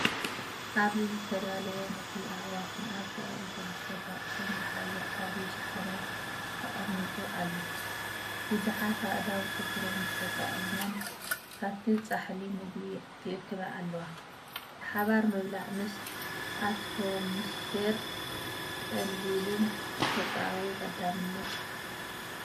ኣብዚ ዝተዳለወ ምግቢ ኣዕዋፍን ኣብ ጥቓኡ ዝርከብ ኣቕሑን ዝሓዘ ዓቢ ሻሓነ ተቐሚጡ ኣሎ። ብዙሓት ኣእዳው ጽፍሮም ተጠቒመን ካብቲ ጻሕሊ ምግቢ ይእክባ ኣለዋ። ብሓባር ምብላዕ ምስ ኣትሞስፊየር ቀሊልን ተፈጥሮኣዊን ቀዳምነት እዩ።